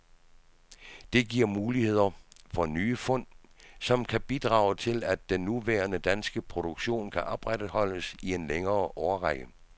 Det giver mulighed for nye fund, som kan bidrage til, at den nuværende danske produktion kan opretholdes i en længere årrække.